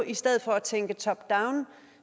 i stedet for at tænke top down